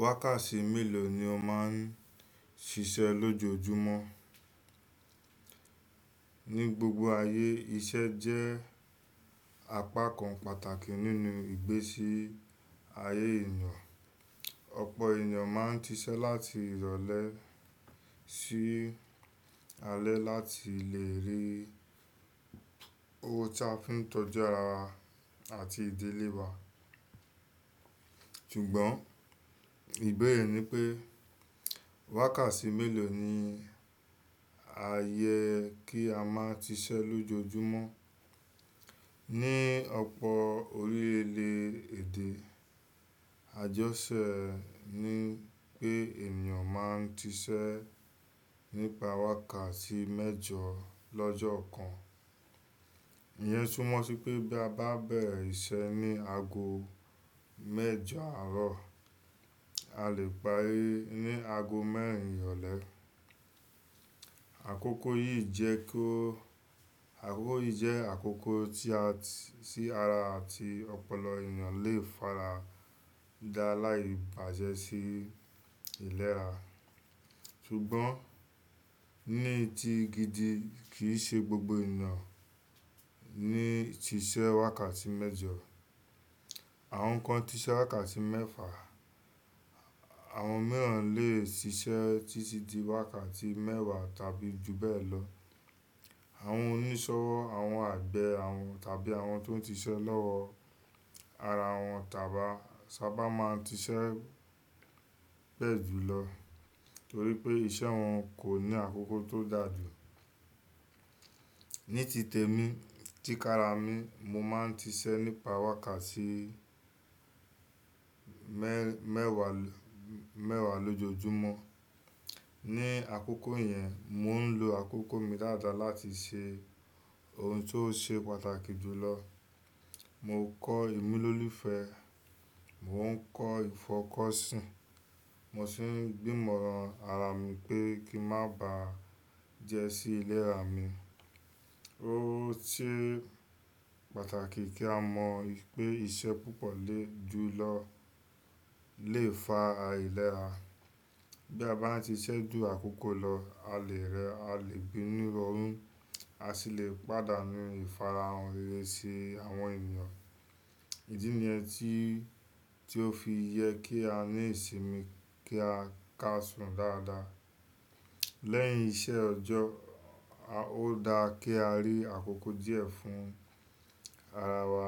Wákàtí mélòó ni o máa ń ṣiṣẹ́ lójoojúmọ́? Ni gbogbo ayé, iṣẹ́ jẹ́ apá kan pàtàkì nínú ìgbésí ayé ènìyàn. Ọ̀pọ̀ ènìyàn máa ń ṣiṣẹ́ láti ìrọ̀lẹ́ sí alẹ́ láti lè rí owó tí a fi ń tọ́jú ara àti ìdílé wa. Ṣùgbọ́n ìbéèrè ni pé wákàtí mélòó ni a yẹ kí a máa ṣiṣẹ́ lójoojúmọ́? Ni ọ̀pọ̀ orílẹ̀-èdè, àjọṣẹ́ ni pé ènìyàn máa ń ṣiṣẹ́ nípa wákàtí mẹ́jọ lọ́jọ́ kan. Ìyẹn súmọ́ sí pé bí a bá bẹ̀rẹ̀ iṣẹ́ ní ago mẹ́jọ àárọ̀, a lè parí ní ago mẹ́rin ìrọ̀lẹ́. Àkókò yìí jẹ́ kó, àkókò yìí jẹ́ àkókò tí ara àti ọ̀pọ̀lọ ènìyàn lè fara da láì bàjẹ́ sí ilérà. Ṣùgbọ́n ní ti gidi kì í ṣe gbogbo ènìyàn ní ti ṣiṣẹ́ wákàtí mẹ́jọ. Àwọn kan ti ṣiṣẹ́ wákàtí mẹ́fà, àwọn mìíràn lè ṣiṣẹ́ títí di wákàtí mẹ́wàá tàbí jù bẹ́ẹ̀ lọ. Àwọn oníṣọwọ́, àwọn àgbẹ̀ àwọn tàbí àwọn tó ń ṣiṣẹ́ lọ́wọ́ ara wọn tàbí sábà máa ń ṣiṣẹ́ pẹ́ jùlọ torí pé iṣẹ́ wọn kò ní àkókò tó dàjú. Ní ti tèmi, tí kára mi, mo máa ń ṣiṣẹ́ nípa wákàtí mẹ́-mẹ́wàá-mẹ́wàá lójoojúmọ́. Ni àkókò yẹn, mò ń lo àkókò mi dáadáa láti ṣe ohun tó ṣe pàtàkì jùlọ. Mo kọ́ ìmúlò lífe, mò ń kọ́ ìfọkọsìn, mo sì ń gbí Mọ́ran ara mi pé kí n má ba à jẹ́ sí ilérà mi. Ó ṣe pàtàkì kí a mọ pé iṣẹ́ púpọ̀ lé jùlọ lè fa ailérà. Bí a bá ti ṣiṣẹ́ ju àkókò lọ, a lè rẹ, a lè bínú rọrùn, a sì lè pàdánù ìfarahàn rere sí àwọn ènìyàn. Èyí ni ẹ́ ti, tí ó fi yẹ kí á ní ìsinmi kí a ká sùn dáadáa. Lẹ́yìn iṣẹ́ ọjọ́, ó da kí a rí àkókò díẹ̀ fún ara wa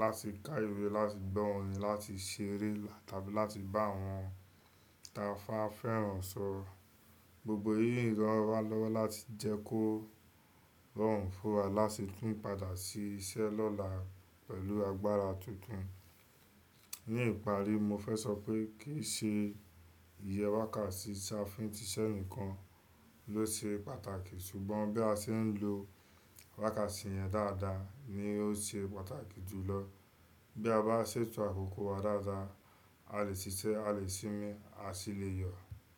láti ká ìwé, láti gbọ́ orin, láti ṣeré tàbí láti bá àwọn tí ba fẹ́ràn sọ̀rọ̀. Gbogbo èyí rọ́ wa lọ́wọ́ láti jẹ́ kó rọrùn fún wa láti tún padà sí iṣẹ́ lọ́la pẹ̀lú agbára tuntun. Ní ìparí, mo fẹ́ sọ pé kì í ṣe iye wákàtí tí a fi ń ṣiṣẹ́ nìkan ló ṣe pàtàkì, ṣùgbọ́n bí a ṣe ń lo wákàtí yẹn dáadáa ni ó ṣe pàtàkì jùlọ. Bí a bá ṣètò àkókò wa dáadáa, a lè ṣiṣẹ́, a lè sinmi, a sì lè yọ̀.